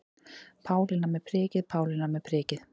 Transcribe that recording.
Pálína með prikið, Pálína með prikið.